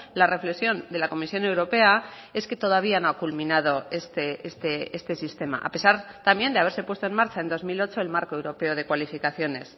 la reflexión de la comisión europea es que todavía no ha culminado este sistema a pesar también de haberse puesto en marcha en dos mil ocho el marco europeo de cualificaciones